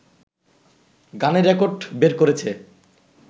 গানের রেকর্ড বের করেছে